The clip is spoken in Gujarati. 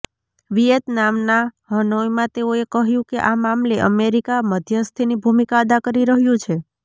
વિયેતનામના હનોઇમાં તેઓએ કહ્યું કે આ મામલે અમેરીકા મધ્યસ્થીની ભૂમિકા અદા કરી રહ્યું છે